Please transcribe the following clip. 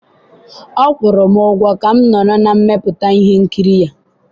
ọ kwụrụ m ụgwọ ka m nọrọ na mmepụta ihe nkiri ya